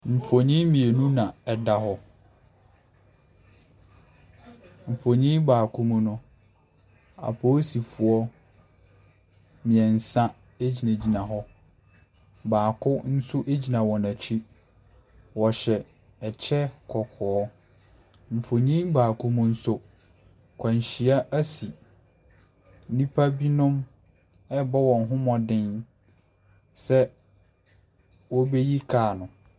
Nfonni mmienu na ɛda hɔ. Nfonni baako mu no, aposifoɔ mmiɛnsa egyinagyina hɔ. Baako nso egyina wɔn akyi. Wɔhyɛ ɛkyɛ kɔkɔɔ. Nfonni baako mu nso akwanhyia asi. Nnipa bi nom ɛrebɔ wɔn ho mmɔden sɛ ɔbeyi car no.